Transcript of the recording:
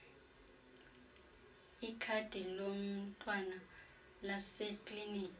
ikhadi lomntwana laseklinikhi